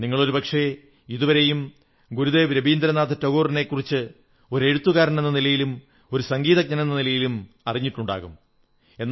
നിങ്ങൾ ഒരുപക്ഷേ ഇതുവരെയും ഗുരുദേവ് രവീന്ദ്രനാഥ് ടാഗോറിനെക്കുറിച്ച് ഒരു എഴുത്തുകാരനെന്ന നിലയിലും ഒരു സംഗീതജ്ഞനെന്ന നിലയിലും അറിഞ്ഞിട്ടുണ്ടാകും